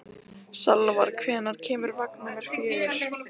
Salvar, hvenær kemur vagn númer fjögur?